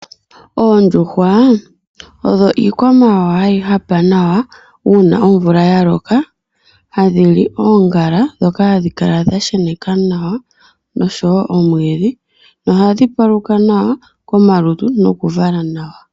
Oondjuhwa odho iikwamawawa hayi hapa nawa uuna omvula ya loka, ohadhi li oongala ndhoka hadhi kala dha sheneka nawa nosho woo omwiidhi nohadhi paluka nawa komalutu nokuvala nawa.